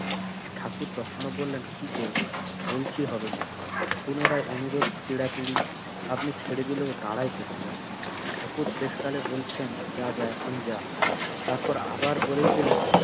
ঠাকুর তখনও বললেন, কি করবো? বলছি হবে না। পুনরায় অনুরোধ পীড়াপীড়ি। আপনি ছেড়ে দিলে ও দাঁড়ায় কোথায়? ঠাকুর শেষকালে বলছেন, যা যা এখন যা। তারপর আবার বলেই দিলেন,